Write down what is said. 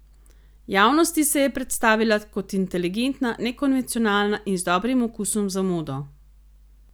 Javnosti se je predstavila kot inteligentna, nekonvencionalna in z dobrim okusom za modo.